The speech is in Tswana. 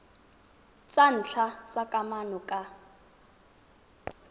tsa ntlha tsa kamano ka